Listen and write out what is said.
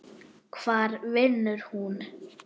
Hvar vinnur hún?